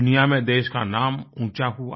दुनिया में देश का नाम ऊँचा हुआ